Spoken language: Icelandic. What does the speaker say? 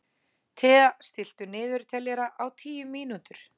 Thea, stilltu niðurteljara á tíu mínútur.